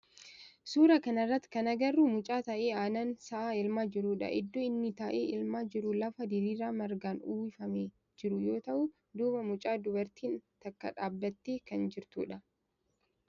Suuraa kana irratti kan agarru mucaa taa'ee aannan sa'aa elmaa jirudha. Iddoo inni taa'ee elmaa jiru lafa diriiraa margaan uwwifamee jiru yoo ta'u duuba mucaa dubartiin takka dhaabbattee kan jirtudha.